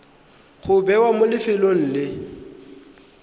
go bewa mo lefelong le